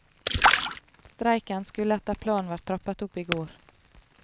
Streiken skulle etter planen vært trappet opp i går.